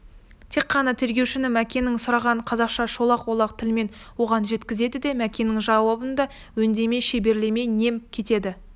тек қана тергеушінің мәкеннен сұрағанын қазақша шолақ-олақ тілмен оған жеткізеді де мәкеннің жауабын да өңдемей шеберлемей нем кетеді